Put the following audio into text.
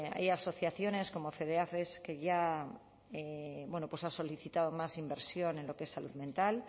hay asociaciones como fedeafes que ya bueno pues ha solicitado más inversión en lo que es salud mental